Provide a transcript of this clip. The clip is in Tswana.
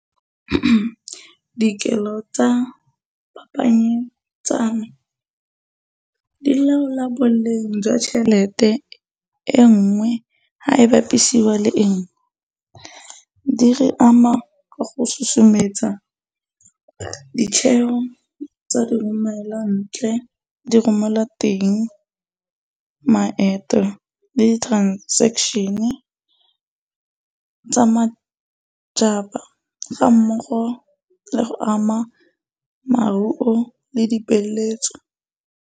Dikelo tsa di laola boleng jwa tšhelete e nngwe ga e bapisiwa le e nngwe. Di re ama ka go sosometsa ditheo tsa diromelwantle diromelwa teng, maeto le di-transaction tsa ga mmogo le go ama le dipeeletso.